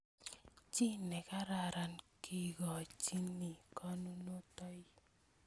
Chi nekararan kekochini konunotiot